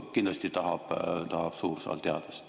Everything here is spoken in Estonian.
Kindlasti tahab suur saal teada seda.